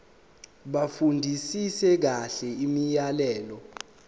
bafundisise kahle imiyalelo